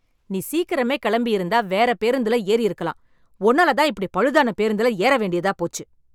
நீ சீக்கிரமே கெளம்பி இருந்தா வேற பேருந்துல ஏறி இருக்கலாம், உன்னால தான் இப்படி பழுதான பேருந்துல ஏற வேண்டியதாகி போச்சு.